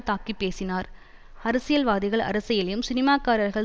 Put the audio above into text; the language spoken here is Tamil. தாக்கி பேசினார் அரசியல்வாதிகள் அரசியலையும் சினிமாக்காரர்கள்